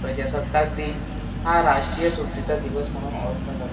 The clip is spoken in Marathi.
प्रजासत्ताक दिन हा राष्ट्रीय सुटीचा दिवस म्हणून ओडखला जातो.